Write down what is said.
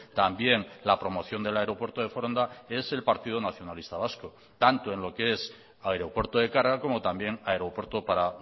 también la promoción del aeropuerto de foronda es el partido nacionalista vasco tanto en lo que es aeropuerto de carga como también aeropuerto para